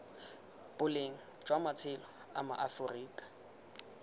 boleng jwa matshelo a maaforika